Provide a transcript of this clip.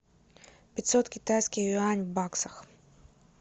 пятьсот китайских юаней в баксах